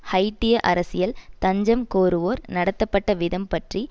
ஹைய்ட்டிய அரசியல் தஞ்சம் கோருவோர் நடத்தப்பட்ட விதம் பற்றி